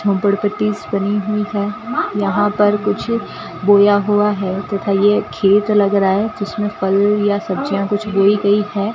झोपड़ पट्टी बनी हुई है यहां पर कुछ बोया हुआ है तथा यह खेत लग रहा है जिसमें फल या सब्जियां कुछ बोई गई है।